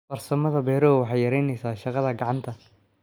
Farsamada beeruhu waxay yaraynaysaa shaqada gacanta.